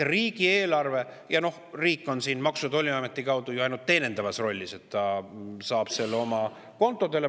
Ja riik on siin Maksu‑ ja Tolliameti kaudu ju ainult teenindavas rollis, ta saab selle oma kontodele.